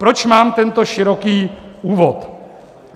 Proč mám tento široký úvod.